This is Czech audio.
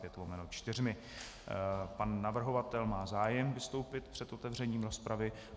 Pan navrhovatel má zájem vystoupit před otevřením rozpravy.